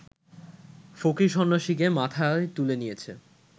ফকির-সন্ন্যাসীকে মাথায় তুলে নিয়েছে